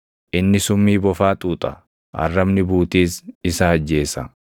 Inni summii bofaa xuuxa; arrabni buutiis isa ajjeesa.